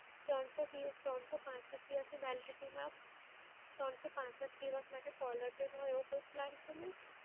ત્રણસો દિવસ ત્રણસો પાંસઠ દિવસની validity માં ત્રણસો પાંસઠ દિવસ માટે caller tune હોય એવું કોઈ plan છે mam?